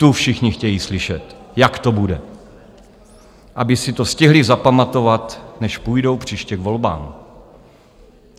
Tu všichni chtějí slyšet, jak to bude, aby si to stihli zapamatovat, než půjdou příště k volbám!